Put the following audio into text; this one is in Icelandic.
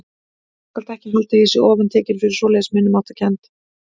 Þú skalt ekki halda að ég sé ofantekinn fyrir svoleiðis minnimáttarkennd.